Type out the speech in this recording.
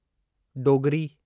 Dogri